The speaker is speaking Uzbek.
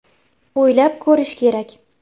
“O‘ylab ko‘rish kerak!